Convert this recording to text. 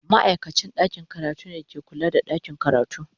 Ma'aikacin ɗakin karatu ne ke kula da ɗakin karatu.